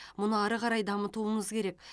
мұны ары қарай дамытуымыз керек